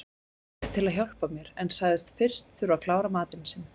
Hann bauðst til að hjálpa mér en sagðist fyrst þurfa að klára matinn sinn.